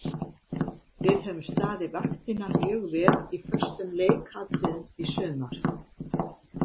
Við höfum staðið vaktina mjög vel í föstum leikatriðum í sumar.